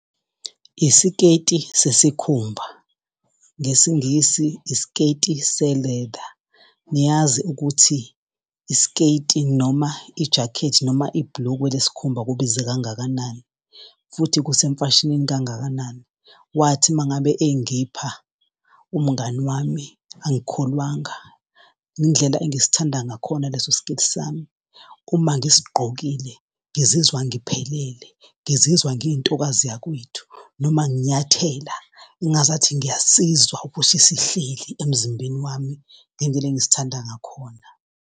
Isiketi sesikhumba ngesingisi isiketi se-leather. Niyazi ukuthi, isketi, noma ijakhethi noma ibhulukwe lesikhumba kubiza kangakanani, futhi kusemfashinini kangakanani. Wathi uma ngabe engipha umngani wami angikholwanga indlela engisithanda ngakhona leso siketi sami. Uma ngisigqokile ngizizwa ngiphelele ngizizwa ngiyintokazi yakwethu noma nginyathela engazathi ngiyasizwa ukuthi sihleli emzimbeni wami ngendlela engisithanda ngakhona.